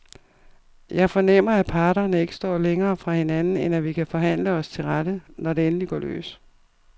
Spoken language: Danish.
Jeg fornemmer, at parterne ikke står længere fra hinanden, end at vi kan forhandle os til rette, når det endelig går løs.